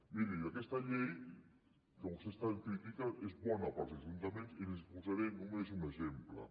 miri aquesta llei que vostès tant critiquen és bona per als ajuntaments i li’n posaré només un exemple